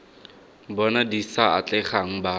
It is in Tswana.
bona di sa atlegang ba